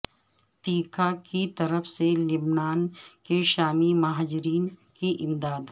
TIKA کی طرف سے لبنان کے شامی مہاجرین کی امداد